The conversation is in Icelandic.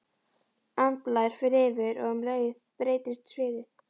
Andblær fer yfir og um leið breytist sviðið.